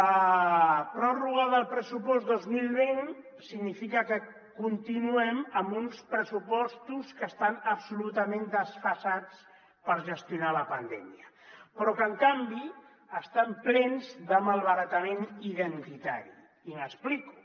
la pròrroga del pressupost dos mil vint significa que continuem amb uns pressupostos que estan absolutament desfasats per gestionar la pandèmia però que en canvi estan plens de malbaratament identitari i m’explico